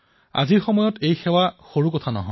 আজিৰ সময়ত এই সেৱা সৰু সেৱা নহয়